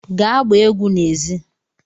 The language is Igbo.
Gaa gbaa egwu n'èzí!